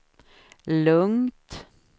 lugnt